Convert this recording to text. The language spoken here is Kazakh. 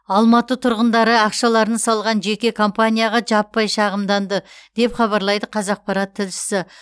алматы тұрғындары ақшаларын салған жеке компанияға жаппай шағымданды деп хабарлайды қазақпарат тілшісі